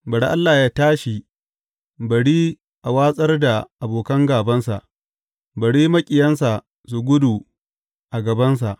Bari Allah yă tashi, bari a watsar da abokan gābansa; bari maƙiyansa su gudu a gabansa.